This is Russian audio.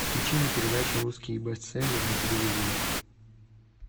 включи мне передачу русский бестселлер на телевизоре